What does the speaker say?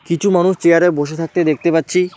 কিছু মানুষ চেয়ার -এ বসে থাকতে দেখতে পাচ্ছি।